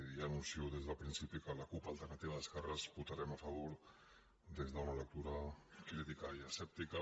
i ja anuncio des del principi que la cup alternativa d’es querres votarem a favor des d’una lectura crítica i escèptica